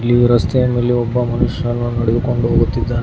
ಈ ರಸ್ತೆಯ ಮೇಲೆ ಒಬ್ಬ ಮನುಷ್ಯನು ನಡೆದುಕೊಂಡು ಹೋಗುತ್ತಿದ್ದಾನೆ.